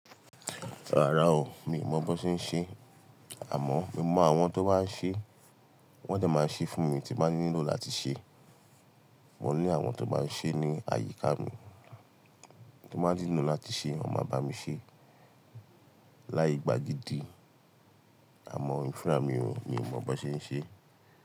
Rárá o, mi ò mọ bó ṣe ń ṣe, àmọ́ mo mọ àwọn tó máa ń ṣe, wọn dẹ máa ṣe fún mi tí m bá nílò láti ṣe. Mo ní àwọn tó máa ń ṣe ní àyíká mi tí m bá nílò láti ṣe, wọn máa bá mi ṣe. Láì gbà gidi, àmọ́ èmí fúnra mi ò, mi ò mọ bó ṣe ń ṣe.